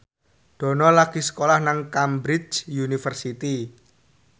Dono lagi sekolah nang Cambridge University